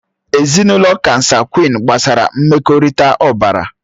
Ezinụlọ kansagwị́n gbasara mmekọrịta ọbara